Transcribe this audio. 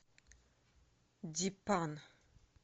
дипан